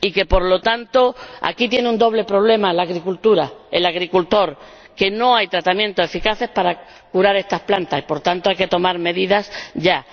Por consiguiente, aquí tiene un doble problema la agricultura, el agricultor no hay tratamientos eficaces para curar estas plantas, y, por ello, hay que tomar medidas ya.